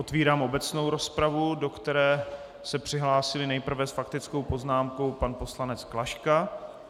Otevírám obecnou rozpravu, do které se přihlásil nejprve s faktickou poznámkou pan poslanec Klaška.